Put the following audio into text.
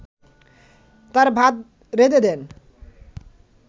তার ভাত রেঁধে দেন